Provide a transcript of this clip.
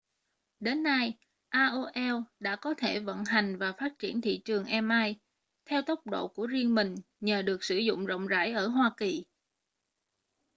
đến nay aol đã có thể vận hành và phát triển thị trường im theo tốc độ của riêng mình nhờ được sử dụng rộng rãi ở hoa kỳ